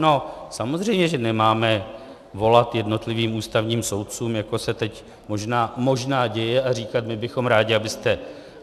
No samozřejmě že nemáme volat jednotlivým ústavním soudcům, jako se teď možná děje a říkat: my bychom rádi, abyste...